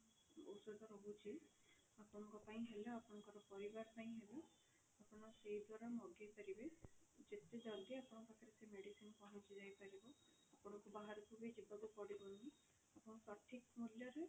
ଔଷଧ ରହୁଛି ଆପଣଙ୍କ ପାଇଁ ହେଲା ଆପଣଙ୍କ ପରିବାର ପାଇଁ ହେଲା ଆପଣ ସେଇ ଦ୍ଵାରା ମଗେଇ ପାରିବେ, ଯେତେ ଜଲ୍ଦି ଆପଣଙ୍କ ପାଖରେ ସେ medicine ପହଞ୍ଚି ଯାଇ ପାରିବ ଆପଣଙ୍କୁ ବାହାରକୁ ବି ଯିବାକୁ ପଡିବନି ଆପଣ ସଠିକ ମୂଲ୍ୟରେ